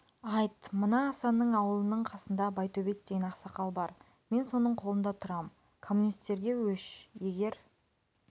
айт мына асанның ауылының қасында байтөбет деген ақсақал бар мен соның қолында тұрам коммунистерге өш егер